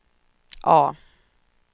A